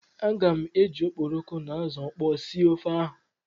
Aga m eji okporoko na azụ ọkpọọ sie ofe ahụ.